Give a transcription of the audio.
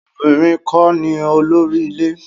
Obìnrin kọ́ ni olórí ilé.